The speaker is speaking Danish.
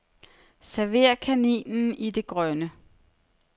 Server kaninen i det grønne.